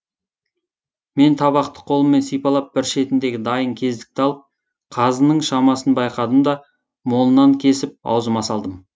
мен табақты қолыммен сипалап бір шетіндегі дайын кездікті алып қазының шамасын байқадым да молынан кесіп аузыма салдым